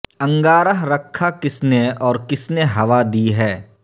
انگارہ رکھا کس نے اور کس نے ہوا دی ہے